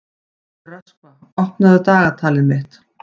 Röskva, opnaðu dagatalið mitt.